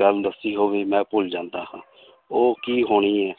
ਗੱਲ ਦੱਸੀ ਹੋਵੇ ਮੈਂ ਭੁੱਲ ਜਾਂਦਾ ਹਾਂ ਉਹ ਕੀ ਹੋਣੀ ਹੈ